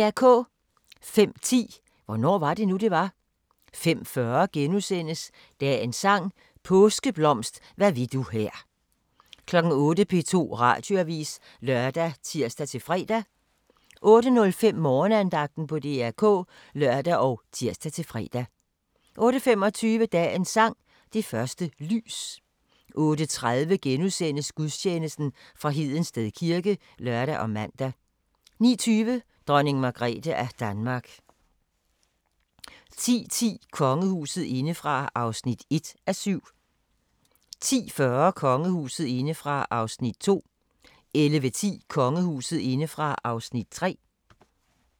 05:10: Hvornår var det nu, det var? 05:40: Dagens sang: Påskeblomst hvad vil du her * 08:00: P2 Radioavis (lør og tir-fre) 08:05: Morgenandagten på DR K (lør og tir-fre) 08:25: Dagens sang: Det første lys 08:30: Gudstjeneste fra Hedensted kirke *(lør og man) 09:20: Dronning Margrethe af Danmark 10:10: Kongehuset indefra (1:7) 10:40: Kongehuset indefra (2:7) 11:10: Kongehuset indefra (3:7)